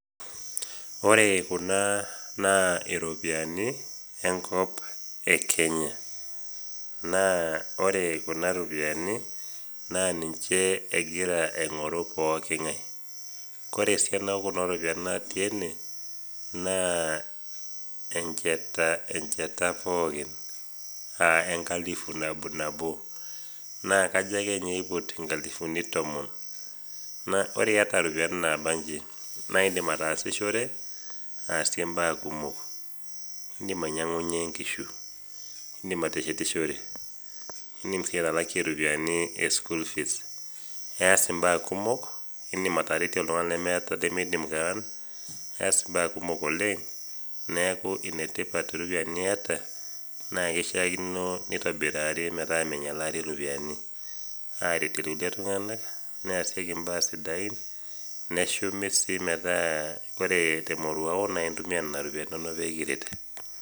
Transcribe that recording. Ore kuna naa iropiani enkop e Kenya. Naa ore kuna ropiani, naa ninche egira aing'oru pooki ng'ai. Ore esiana o kuna ropiani natii ene naa encheta encheta pookin a enkalifu nabonabo. Naa kajo akeninye eiput inkalifuni tomon. Naa ore iata iropiani naba nji, naa indim ataasishore, asie imbaa kumok. Indim ainyang'unye nkishu, indim ateshishore, indim atalakie school fees indim ateretie oltung'ani lemeidim kewon, eas imbaa kumok oleng, neaku inetipat iropiani iata naa keishiakino neitobirari metaa meinyalari iropiani. Aretie iltung'ani, neasieki imbaa sidain, neshumi sii metaa ore temoruao naa intumia nena ropiani pee kiret.